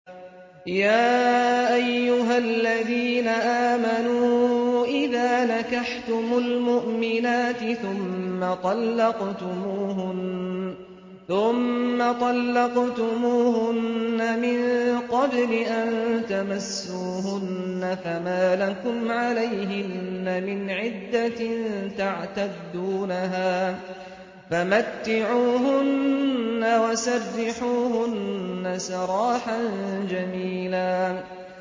يَا أَيُّهَا الَّذِينَ آمَنُوا إِذَا نَكَحْتُمُ الْمُؤْمِنَاتِ ثُمَّ طَلَّقْتُمُوهُنَّ مِن قَبْلِ أَن تَمَسُّوهُنَّ فَمَا لَكُمْ عَلَيْهِنَّ مِنْ عِدَّةٍ تَعْتَدُّونَهَا ۖ فَمَتِّعُوهُنَّ وَسَرِّحُوهُنَّ سَرَاحًا جَمِيلًا